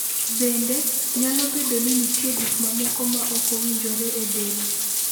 Bende, nyalo bedo ni nitie gik mamoko ma ok owinjore e del.